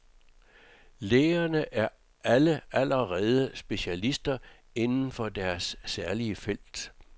Lægerne er alle allerede specialister inden for deres særlige felt.